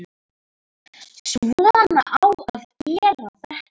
Svona á að gera þetta.